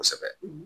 Kosɛbɛ